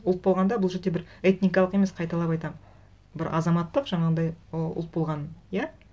ұлт болғанда бұл жерде бір этникалық емес қайталап айтамын бір азаматтық жаңағындай ұлт болғанын иә